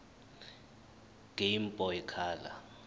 game boy color